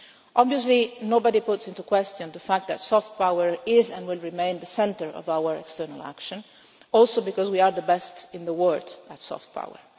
Obviously, nobody calls into question the fact that soft power is and will remain the centre of our external action, also because we are the best in the world at soft power.